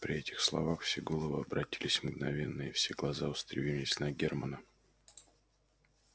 при этих словах все головы обратились мгновенно и все глаза устремились на германа